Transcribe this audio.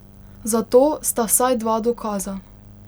Za to sta vsaj dva dokaza.